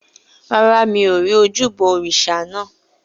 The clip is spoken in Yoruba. Rárá, mi ò rí ojúbọ òrìṣà naa.